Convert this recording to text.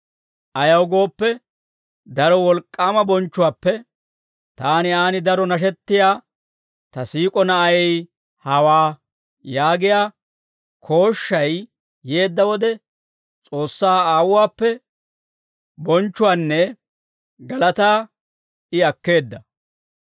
Ayaw gooppe, daro wolk'k'aama bonchchuwaappe, «Taani aan daro nashettiyaa ta siik'o Na'ay hawaa» yaagiyaa kooshshay yeedda wode, S'oossaa Aawuwaappe bonchchuwaanne galataa I akkeedda.